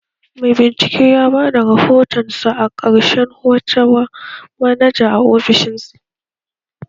Mai bincike ya bada rahotonsa na ƙarshen wata wa manaja a ofishinsa.